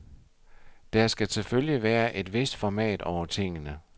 Der skal selvfølgelig være et vist format over tingene.